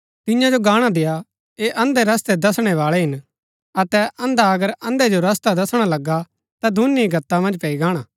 तियां जो गाणा देय्आ ऐह अंधे रस्तै दसणै बाळै हिन अतै अंधा अगर अंधे जो रस्ता दसणा लगा ता दूनी ही गत्ता मन्ज पैई गाणा